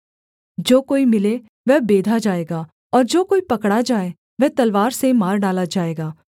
जो कोई मिले वह बेधा जाएगा और जो कोई पकड़ा जाए वह तलवार से मार डाला जाएगा